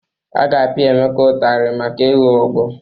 A ga-apịa Emeka ụtarị maka ịlụ ọgwụ.